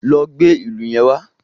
Lọ gbé ìlù yẹn wá.